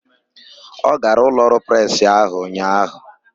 Ọ gara ụlọọrụ presị ahụ ụnyaahụ?